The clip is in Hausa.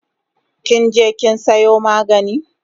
Kinje kin sayo magani?